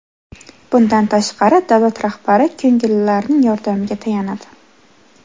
Bundan tashqari, davlat rahbari ko‘ngillilarning yordamiga tayanadi.